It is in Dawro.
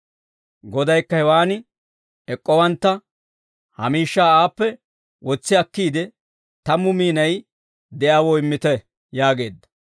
«Godaykka, hewaan ek'k'owantta, ‹Ha miishshaa aappe wotsi akkiide tammu miinay de'iyaawoo immite› yaageedda.